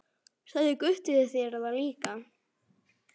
Sagði Gutti þér það líka?